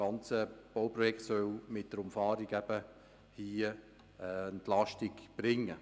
Dieses Bauprojekt soll mit der Umfahrung hier Entlastung bringen.